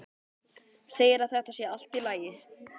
Segir að þetta sé allt í lagi.